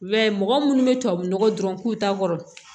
I b'a ye mɔgɔ munnu bɛ tubabu nɔgɔ dɔrɔn k'u ta kɔrɔ